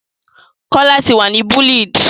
Kọ lati wa ni bullied!